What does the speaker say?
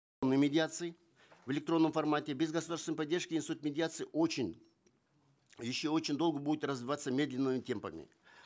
о медиации в электронном формате без государственной поддержки институт медиации очень еще очень долго будет развиваться медленными темпами